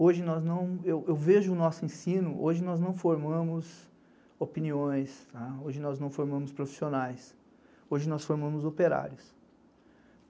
Hoje nós não, eu vejo o nosso ensino, hoje nós não formamos opiniões, hoje nós não formamos profissionais, hoje nós formamos operários.